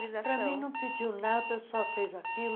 Para mim, não pediu nada, só fez aquilo.